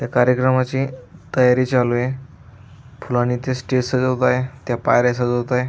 त्या कार्यक्रमाची तयारी चालूय फुलाणी ते स्टेज सजवतोय त्या पायऱ्या सजवतोय.